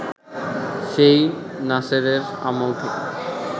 সেই নাসেরের আমল থেকে